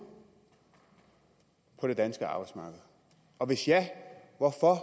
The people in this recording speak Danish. på det danske arbejdsmarked og hvis ja hvorfor